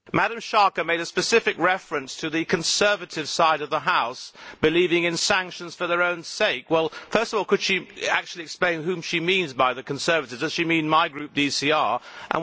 Mr President, Ms Schaake made a specific reference to the conservative side of the House' believing in sanctions for their own sake. First of all could she actually explain whom she means by the conservatives does she mean my Group, the ECR Group?